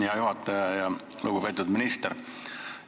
Hea juhataja ja lugupeetud minister!